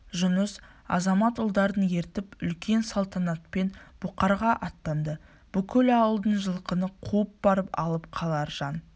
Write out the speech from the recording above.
жұныс азамат ұлдарын ертіп үлкен салтанатпен бұқарға аттанды бүкіл ауылдан жылқыны қуып барып алып қалар жан